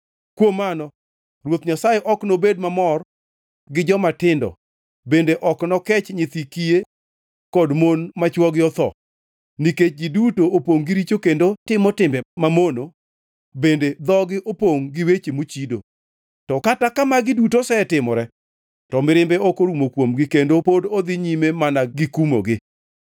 Kuom mano Ruoth Nyasaye ok nobed mamor gi jomatindo bende ok nokech nyithi kiye kod mon ma chwogi otho, nikech ji duto opongʼ gi richo kendo timo timbe mamono bende dhogi opongʼ gi weche mochido. To Kata ka magi duto osetimore to mirimbe ok orumo kuomgi kendo pod odhi nyime mana gikumogi.